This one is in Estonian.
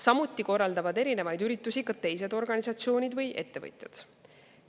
Samuti korraldavad erinevaid üritusi teised organisatsioonid või ettevõtjad.